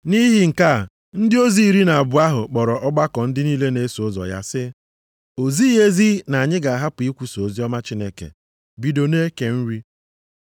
Nʼihi nke a, ndị ozi iri na abụọ ahụ kpọrọ ọgbakọ ndị niile na-eso ụzọ ya sị, “O zighị ezi na anyị ga-ahapụ ikwusa oziọma Chineke bido na-eke nri.